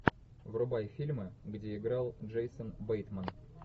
врубай фильмы где играл джейсон бейтман